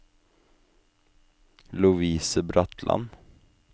Lovise Bratland